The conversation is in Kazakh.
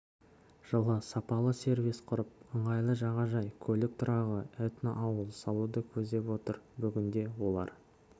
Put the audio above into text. жылы сапалы сервис құрып ыңғайлы жағажай көлік тұрағы этноауыл салуды көздеп отыр бүгінде олар